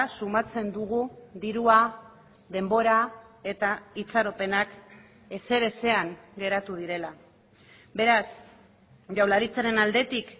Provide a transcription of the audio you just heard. sumatzen dugu dirua denbora eta itxaropenak ezer ezean geratu direla beraz jaurlaritzaren aldetik